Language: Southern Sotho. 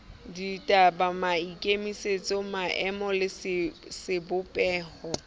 ditaba maikemisetso maemo le sebopeho